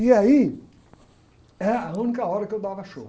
E aí era era a única hora que eu dava show.